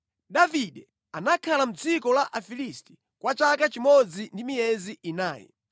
Davide anakhala mʼdziko la Afilisti kwa chaka chimodzi ndi miyezi inayi.